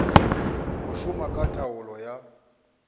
go šoma ka taolo ya